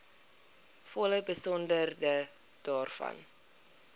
volle besonderhede daarvan